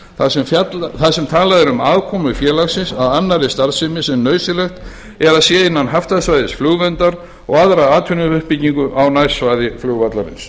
þar sem talað er um aðkomu félagsins að annarri starfsemi sem nauðsynlegt er að sé innan haftasvæðis flugverndar og aðra atvinnuuppbyggingu á nærsvæði flugvallarins